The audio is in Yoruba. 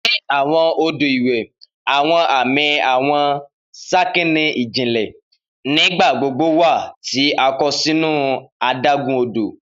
Ni awọn odo iwe, awọn ami awọn sakani ijinle. Nigbagbogbo wa ti a kọ sinu adagun-odo